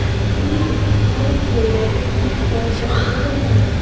Shuning uchun ayrim joylarda sinf soatlari o‘tilmadi.